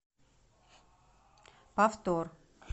повтор